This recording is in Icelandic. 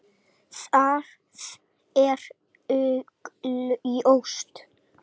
Það er augljóst.